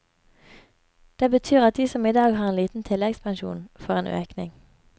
Det betyr at de som i dag har en liten tilleggspensjon får en økning.